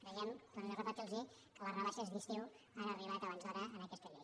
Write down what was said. creiem torno repetirlosho que les rebaixes d’estiu han arribat abans d’hora en aquesta llei